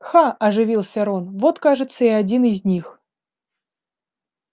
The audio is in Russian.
ха оживился рон вот кажется и один из них